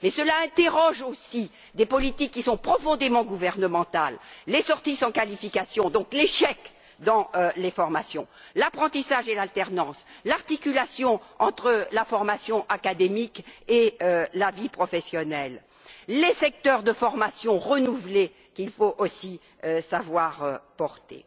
Et cela interroge aussi des politiques qui sont profondément gouvernementales les sorties sans qualification, donc l'échec dans les formations, l'apprentissage et l'alternance, l'articulation entre la formation académique et la vie professionnelle, les secteurs de formation renouvelés qu'il faut aussi savoir porter.